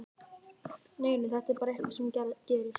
Nei, nei, þetta er bara eitthvað sem gerist.